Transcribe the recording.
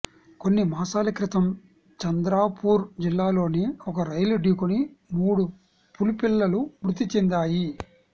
కొన్ని మాసాల క్రితం చంద్రాపూర్ జిల్లాలోనే ఓ రైలు ఢీకొని మూడు పులి పిల్లలు మృతి చెందాయి